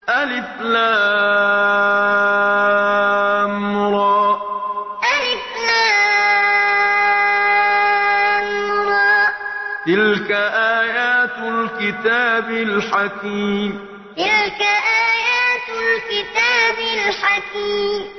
الر ۚ تِلْكَ آيَاتُ الْكِتَابِ الْحَكِيمِ الر ۚ تِلْكَ آيَاتُ الْكِتَابِ الْحَكِيمِ